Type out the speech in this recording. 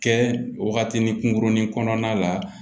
Kɛ waatinin kunkurunin kɔnɔna la